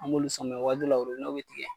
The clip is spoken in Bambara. An b'olu sɔn mɛ waati dɔw la orobinɛ be tigɛ